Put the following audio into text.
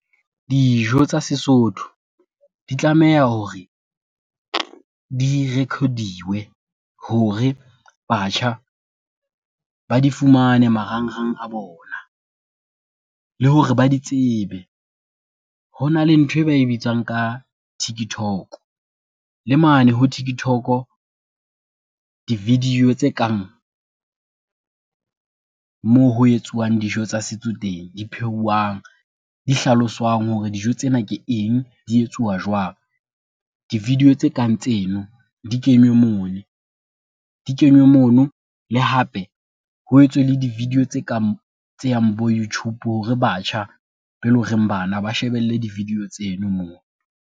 Dijo tsa Sesotho di tlameha hore, di rekhodiwe hore batjha ba di fumane marangrang a bona, le hore ba di tsebe. Ho na le nthwe ba e bitswang ka Tiktok le mane ho Tiktok di-video tse kang, moo ho etsuwang dijo tsa setso teng di phehuwang, di hlaloswang hore dijo tsena ke eng, di etsuwa jwang. Di-video tse kang tseno di kenywe moni, di kenywe mono le hape ho etswe le di-video tse kang tse yang bo Youtube hore batjha be e lo reng bana ba shebelle di-video tseno moo.